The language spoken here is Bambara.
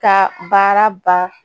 Ka baara ban